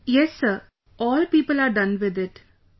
Yes Sir, all people are done with it...